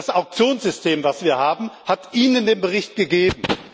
Das Auktionssystem, das wir haben, hat Ihnen den Bericht gegeben.